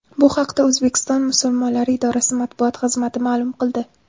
Bu haqda O‘zbekiston musulmonlari idorasi matbuot xizmati ma’lum qildi .